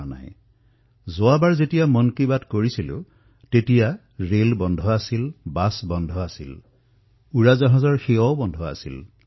যেতিয়া মই যোৱাবাৰ আপোনালোকৰ সৈতে মন কী বাতত অংশগ্ৰহণ কৰিছিলো তেতিয়া ৰেল বন্ধ আছিল বাছ বন্ধ আছিল বিমান সেৱা বন্ধ আছিল